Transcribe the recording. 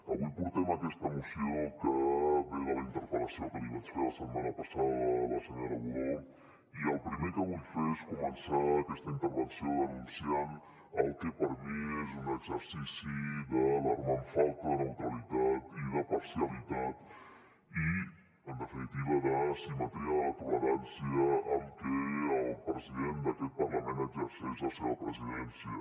avui portem aquesta moció que ve de la interpel·lació que li vaig fer la setmana passada a la senyora budó i el primer que vull fer és començar aquesta intervenció denunciant el que per mi és un exercici d’alarmant falta de neutralitat i de parcialitat i en definitiva d’asimetria de la tolerància amb què el president d’aquest parlament exerceix la seva presidència